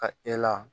Ka e la